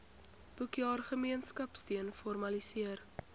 boekjaar gemeenskapsteun formaliseer